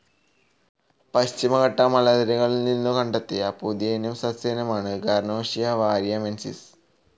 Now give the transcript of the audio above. പശ്ചിമഘട്ട മലനിരകളിൽ നിന്നും കണ്ടെത്തിയ പുതിയ ഇനം സസ്യമാണ് ഗാർനോഷിയ വാരിയമെൻസിസ്.